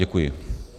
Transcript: Děkuji.